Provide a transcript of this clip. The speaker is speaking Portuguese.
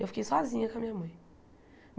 Eu fiquei sozinha com a minha mãe.